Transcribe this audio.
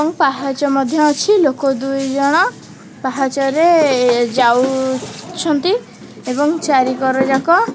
ପାହାଚ ମଧ୍ୟ ଅଛି ଲୋକ ଦୁଇ ଜଣ ପାହାଚରେ ଯାଉଛନ୍ତି ଏବଂ ଚାରିକର ଯାକ।